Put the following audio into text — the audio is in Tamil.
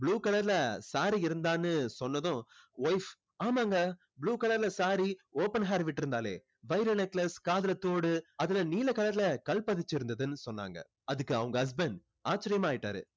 blue color saree ல இருந்தான்னு சொன்னதும் wife ஆமாங்க blue color ல saree open hair விட்டு இருந்தாளே வைர necklace காதுல தோடு அதுல நீல color ல கல் பதிச்சு இருந்ததுன்னு சொன்னாங்க அதுக்கு அவங்க husband ஆச்சரியமா ஆகிட்டாறு